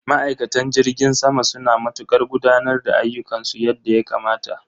Ma'aikatan jirgin sama suna matukar gudanar da ayyukansu yadda ya kamata.